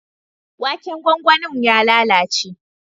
Waken gwangwanin ya lalace.